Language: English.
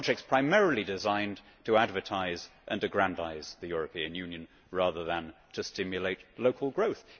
these are jobs primarily designed to advertise and aggrandise the European Union rather than to stimulate local growth.